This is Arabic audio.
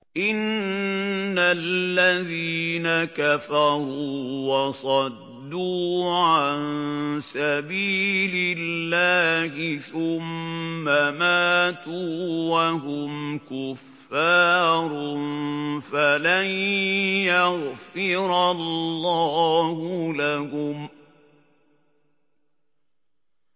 إِنَّ الَّذِينَ كَفَرُوا وَصَدُّوا عَن سَبِيلِ اللَّهِ ثُمَّ مَاتُوا وَهُمْ كُفَّارٌ فَلَن يَغْفِرَ اللَّهُ لَهُمْ